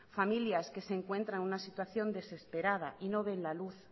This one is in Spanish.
familias que se encuentran en una situación desesperada y no ven la luz